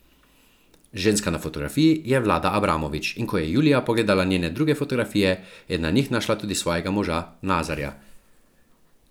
Ženska na fotografiji je Vlada Abramovič, in ko je Julija pogledala njene druge fotografije, je na njih našla tudi svojega moža Nazarja.